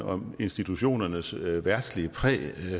om institutionernes verdslige præg